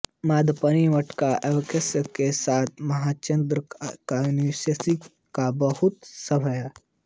यद्यपि मम्मटका काव्यप्रकाश के साथ हेमचंद्रका काव्यानुशासन का बहुत साम्य है